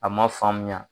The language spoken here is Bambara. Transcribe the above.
A ma faamuya